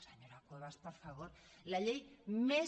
senyora cuevas per favor la llei més